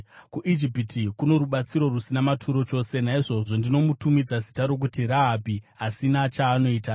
kuIjipiti kuno rubatsiro rusina maturo chose. Naizvozvo ndinomutumidza zita rokuti Rahabhi Asina Chaanoita.